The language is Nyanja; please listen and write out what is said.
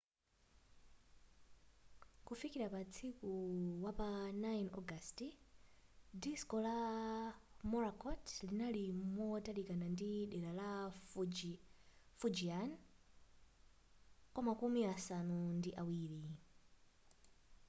kufikila pa usiku wapa 9 ogasiti diso la morakot linali motalikilana ndi dela la fujian kwamakumi asanu ndi awiri